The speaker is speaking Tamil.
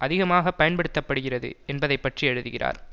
அதிகமாக பயன்படுத்த படுகிறது என்பதனைப்பற்றி எழுதுகிறார்